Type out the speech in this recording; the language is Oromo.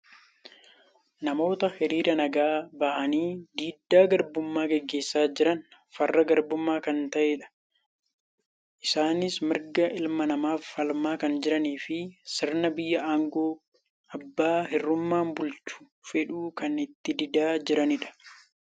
Namoota horiira nagaa bahanii diddaa garbummaa gaggeessaa jiran farra garbummaa kan ta'eerroodha. Isaanis mirga ilma namaaf falmaa kan jiraniifi sirna biyya aangoo abbaa hirruummaan bulchuu fedhu kan itti didaa jiranidha.